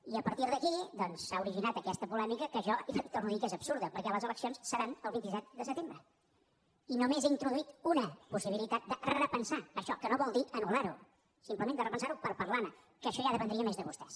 i a partir d’aquí doncs s’ha originat aquesta polèmica que jo li torno a dir que és absurda perquè les eleccions seran el vint set de setembre i només he introduït una possibilitat de repensar això que no vol dir anulper parlar ne que això ja dependria més de vostès